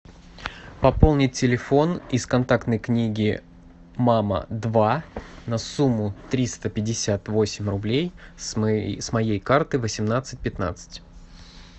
пополнить телефон из контактной книги мама два на сумму триста пятьдесят восемь рублей с моей карты восемнадцать пятнадцать